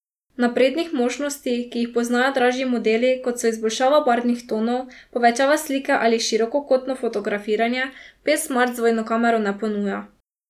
Naprednih možnosti, ki jih poznajo dražji modeli, kot so izboljšava barvnih tonov, povečava slike ali širokokotno fotografiranje, P Smart z dvojno kamero ne ponuja.